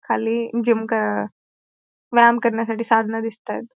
खाली जिम कर व्यायाम करण्यासाठी साधन दिसतायत.